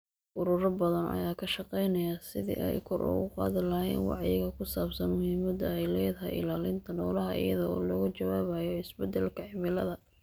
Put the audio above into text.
Ururo badan ayaa ka shaqaynaya sidii ay kor ugu qaadi lahaayeen wacyiga ku saabsan muhiimada ay leedahay ilaalinta noolaha iyada oo laga jawaabayo isbedelka cimilada.